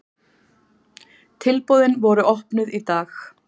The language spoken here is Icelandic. Tilboðin voru opnuð í dag